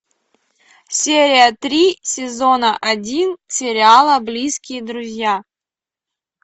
серия три сезона один сериала близкие друзья